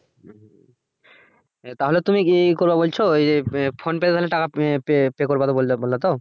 তাহলে কি তুমি ইয়ে করবা বলছো ওই যে Phonepe মাধ্যমে টাকা pay করাবা বললা তো